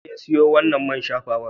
Waye ya siyo wannan man shafawar?